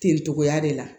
Ten togoya de la